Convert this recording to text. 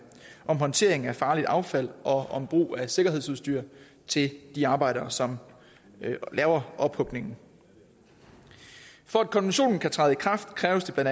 om håndtering af farligt affald og om brug af sikkerhedsudstyr til de arbejdere som laver ophugningen for at konventionen kan træde i kraft kræves det bla